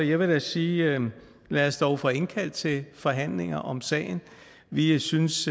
jeg vil sige lad os dog få indkaldt til forhandlinger om sagen vi synes